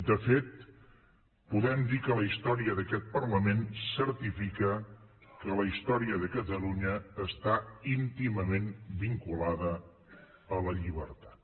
de fet podem dir que la història d’aquest parlament certifica que la història de catalunya està íntimament vinculada a la llibertat